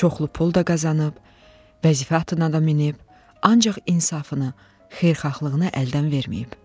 Çoxlu pul da qazanıb, vəzifə atlanıb da minik, ancaq insafını, xeyirxahlığını əldən verməyib.